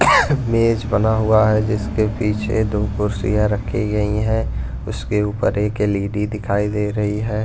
मेज बना हुआ है जिसके पीछे दो कुर्सियां रखी गई हैं उसके ऊपर एक एलईडी दिखाई दे रही है।